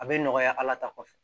A bɛ nɔgɔya ala ta kɔfɛ